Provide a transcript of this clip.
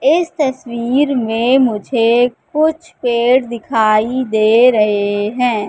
इस तस्वीर में मुझे कुछ पेड़ दिखाई दे रहे हैं।